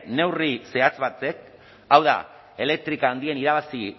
neurri zehatz batek hau da elektrika handien irabazi